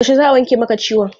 Yaushe za a wanke maka ciwon?